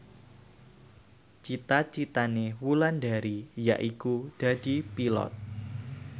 cita citane Wulandari yaiku dadi Pilot